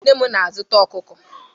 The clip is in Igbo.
Nne m na-azụta ọkụkọ.